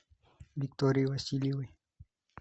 виктории васильевой